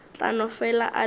tla no fela a le